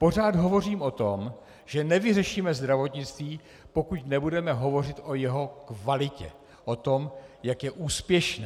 Pořád hovořím o tom, že nevyřešíme zdravotnictví, pokud nebudeme hovořit o jeho kvalitě, o tom, jak je úspěšné.